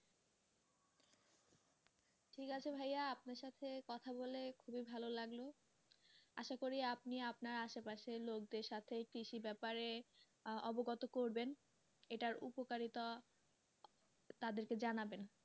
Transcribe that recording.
ঠিক আছে ভাইয়া আপনার সাথে কথা বলে খুবই ভালো লাগলো আশা করি আপনি আপনার আসে পাশে লোকদের সাথে কৃষি ব্যাপারে অবগত করবেন এটার উপকারিতা তাদের কে জানাবেন।